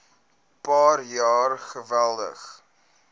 paar jaar geweldig